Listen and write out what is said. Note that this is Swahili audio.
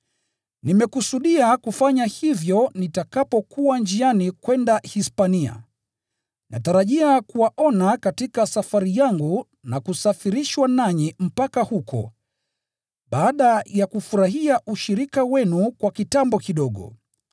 Nimekusudia kufanya hivyo nitakapokuwa njiani kwenda Hispania. Natarajia kuwaona katika safari yangu na kusafirishwa nanyi mpaka huko, baada ya kufurahia ushirika wenu kwa kitambo kidogo.